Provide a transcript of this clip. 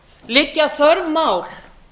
liggja þörf mál